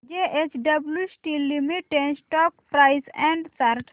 JSW steel limited stock price and chart